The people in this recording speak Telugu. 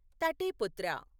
తటే పుత్ర